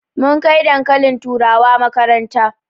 Mun kai dankalin turawa makaranta